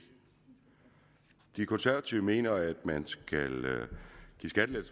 de konservative mener at man skal